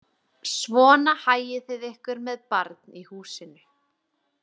Svona hagið þið ykkur með barn í húsinu